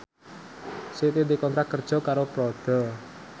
Siti dikontrak kerja karo Prada